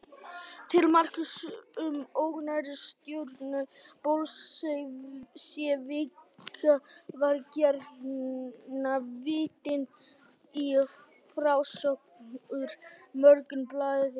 Til marks um ógnarstjórn bolsévíka var gjarnan vitnað í frásögn úr Morgunblaðinu.